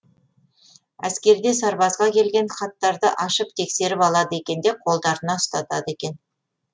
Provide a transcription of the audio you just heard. әскерде сарбазға келген хаттарды ашып тексеріп алады екен де қолдарына ұстатады екен